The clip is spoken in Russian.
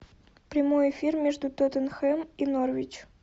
прямой эфир между тоттенхэм и норвич